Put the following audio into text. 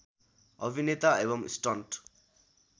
अभिनेता एबम् स्टन्ट